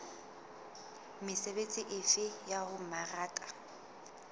mesebetsi efe ya ho mmaraka